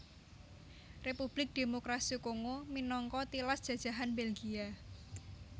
Republik Démokrasi Kongo minangka tilas jajahan Belgia